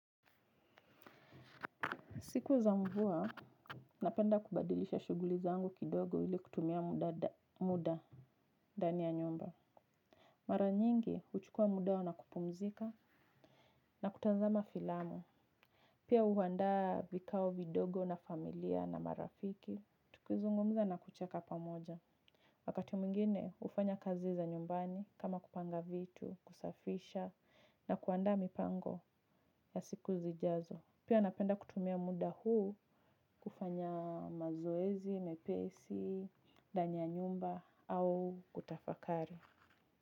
Siku za mvua, napenda kubadilisha shuguli zangu kidogo ili kutumia muda ndani ya nyumba. Mara nyingi, huchukua muda na kupumzika na kutazama filamu. Pia huandaa vikao vidogo na familia na marafiki, tukizungumza na kucheka pamoja. Wakati mwingine, hufanya kazi za nyumbani kama kupanga vitu, kusafisha na kuandaa mipango ya siku zijazo. Pia napenda kutumia muda huu kufanya mazoezi, mepesi, ndani ya nyumba au kutafakari.